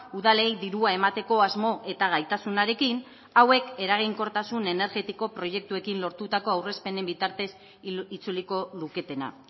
udalei dirua emateko asmo eta gaitasunarekin hauek eraginkortasun energetiko proiektuekin lortutako aurrezpenen bitartez itzuliko luketena